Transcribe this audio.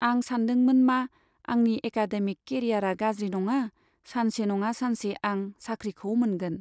आं सानदोंमोन मा आंनि एकाडेमिक केरियारआ गाज्रि नङा , सानसे नङा सानसे आं साख्रिखौ मोनगोन।